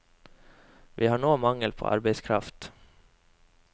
Vi har nå mangel på arbeidskraft.